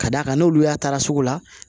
Ka d'a kan n'olu y'a taara sugu la